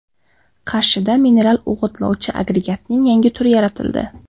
Qarshida mineral o‘g‘itlovchi agregatning yangi turi yaratildi.